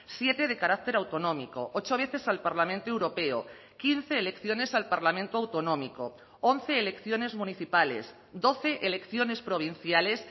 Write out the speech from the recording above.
siete de carácter autonómico ocho veces al parlamento europeo quince elecciones al parlamento autonómico once elecciones municipales doce elecciones provinciales